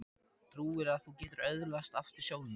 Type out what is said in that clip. Trúirðu að þú getir öðlast aftur sjónina?